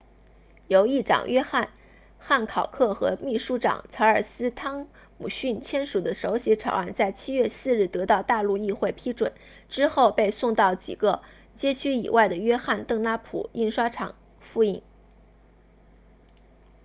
由议长约翰汉考克和秘书长查尔斯汤姆逊签署的手写草案在7月4日得到大陆议会批准之后被送到几个街区以外的约翰邓拉普印刷厂付印